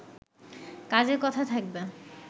কাজের কথা থাকবে